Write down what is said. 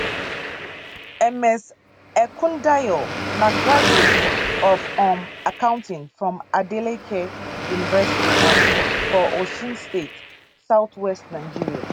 ms ekundayo na graduate of um accounting from adeleke university um for osun state southwest nigeria